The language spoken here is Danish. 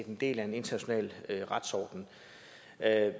en del af en international retsorden